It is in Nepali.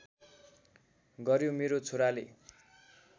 गर्‍यो मेरो छोराले